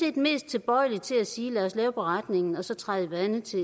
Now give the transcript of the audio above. mest tilbøjelig til at sige lad os lave beretningen og så træde vande til